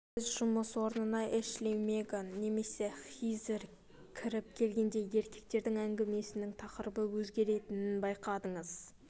сіз жұмыс орнына эшли меган немесе хизер кіріп келгенде еркектердің әңгімесінің тақырыбы өзгеретінін байқадыңыз